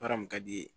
Baara mun ka di i ye